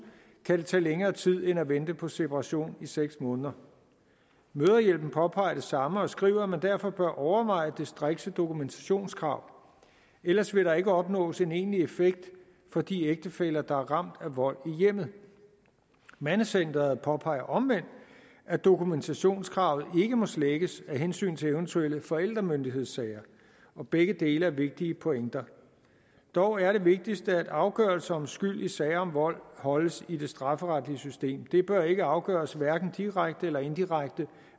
kan det tage længere tid end at vente på separation i seks måneder mødrehjælpen påpeger det samme og skriver at man derfor bør overveje det strikse dokumentationskrav ellers vil der ikke opnås en egentlig effekt for de ægtefæller der er ramt af vold i hjemmet mandecenteret påpeger omvendt at dokumentationskravet ikke må slækkes af hensyn til eventuelle forældremyndighedssager begge dele er vigtige pointer dog er det vigtigste at afgørelser om skyld i sager om vold holdes i det strafferetlige system det bør ikke afgøres hverken direkte eller indirekte